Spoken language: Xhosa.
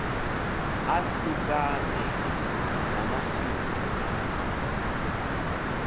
ahlukane namasimi akhe